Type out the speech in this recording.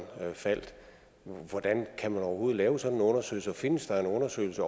falder men hvordan kan man overhovedet lave sådan en undersøgelse og findes der en undersøgelse